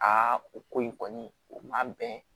o ko in kɔni o man bɛn